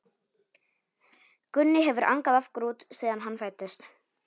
Gunni hefur angað af grút síðan hann fæddist.